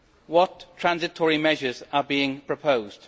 What transitional measures are being proposed?